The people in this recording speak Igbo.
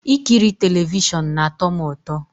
Ikiri telivishọn na-atọ m ụtọ